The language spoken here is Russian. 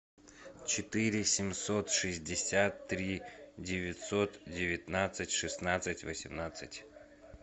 четыре семьсот шестьдесят три девятьсот девятнадцать шестнадцать восемнадцать